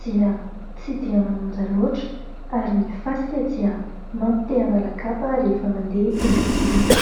dia tsy dia manonja loatra, ary ny fasika dia mampite hanala kapa rehefa andeha eny amboniny.